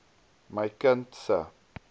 my kind se